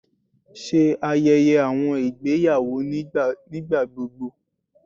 Ṣe ayẹyẹ awọn igbeyawo nigbagbogbo